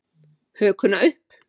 Hökuna upp.